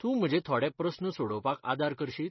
तूं म्हजे थोडे प्रस्न सोडोवपाक आदार करशीत ?